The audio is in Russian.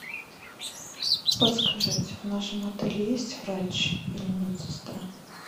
подскажите в нашем отеле есть врач или медсестра